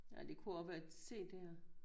Nej det kunne også være CDer